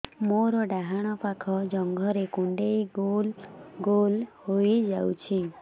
ମୋର ଡାହାଣ ପାଖ ଜଙ୍ଘରେ କୁଣ୍ଡେଇ ଗୋଲ ଗୋଲ ହେଇଯାଉଛି